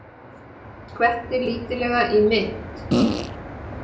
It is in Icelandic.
Skvetti lítillega í mitt.